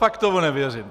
Fakt tomu nevěřím.